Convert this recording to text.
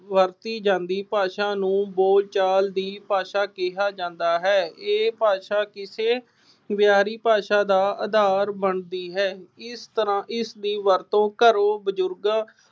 ਵਰਤੀ ਜਾਂਦੀ ਭਾਸ਼ਾ ਨੂੰ ਬੋਲਚਾਲ ਦੀ ਭਾਸ਼ਾ ਕਿਹਾ ਜਾਂਦਾ ਹੈ। ਇਹ ਭਾਸ਼ਾ ਕਿਸੇ ਭਾਸ਼ਾ ਦਾ ਆਧਾਰ ਬਣਦੀ ਹੈ। ਇਸ ਤਰ੍ਹਾਂ ਇਸ ਦੀ ਵਰਤੋਂ ਘਰੋਂ ਬਜ਼ੁਰਗ